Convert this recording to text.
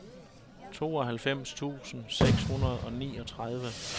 tooghalvfems tusind seks hundrede og niogtredive